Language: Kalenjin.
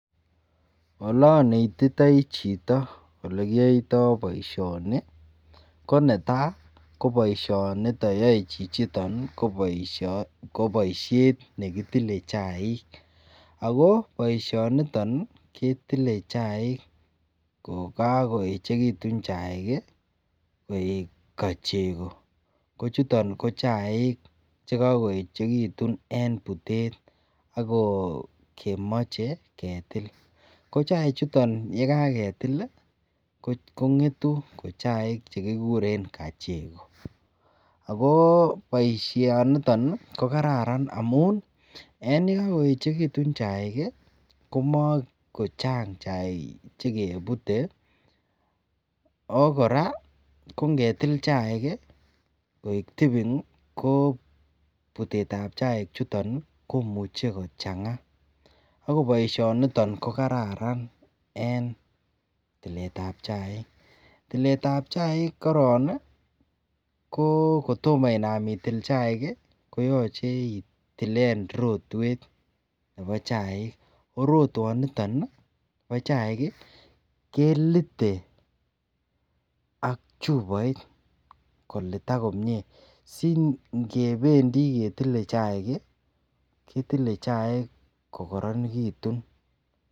Olonetitoi chito olekiyoito boishoni ko netaa ko boishoni yoee chichiton ko boishet nekitile chaik ak ko boishoniton ketile chaik ko kokoechekitun chaik koik kocheko, ko chuton ko chaik chekokoyechekitun en butet ak ko kemoche ketil, ko chaichuton yekaketil ko ngetu ko chaik chekikuren kacheko, ak ko boishoniton ko kararan amun en yekokoechekitun chaik komokochang chaik chekebute oo kora kongetil chaik koik tuning ko butetab chaichuton komuche kochang'a ak ko boishoniton ko kararan en tiletab chaik, tiletab chaik korong ko kotomo inaam itil chaik ko yoche itilen rotwet nebo chaik, ko rotwoniton no chaik kelite ak chuboit kolitak komnye sing'ebendi ketile chaik ketile chaik ko koronekitun.